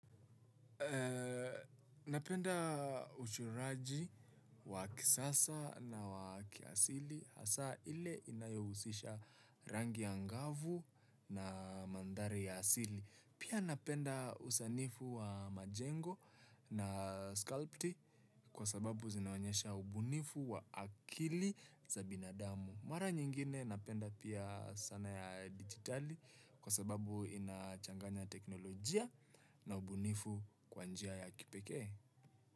Napenda uchoraji wa kisasa na wa kiasili hasaa ile inayohusisha rangi angavu na mandhari ya asili. Pia napenda usanifu wa majengo na sculpti kwa sababu zinaonyesha ubunifu wa akili za binadamu. Mara nyingine napenda pia sanaa ya dijitali kwa sababu inachanganya teknolojia na ubunifu kwa njia ya kipekee.